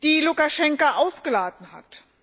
die Lukaschenka ausgeladen hat.